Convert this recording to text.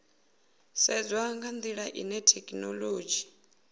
sedzwa nga ndila ine thekhinolodzhi